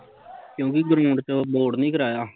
ਕਿਓਕਿ ਗਰੀਓਂਡ ਚ ਬੋੜ ਨੀ ਕਰਾਇਆ